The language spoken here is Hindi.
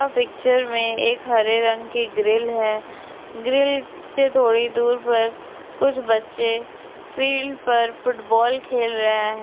पिक्चर मेंएक हरे रंग की ग्रिल है ग्रिल से थोड़ी दूर पर कुछ बच्चेफील्ड पर फुटबॉल खेल रहा है।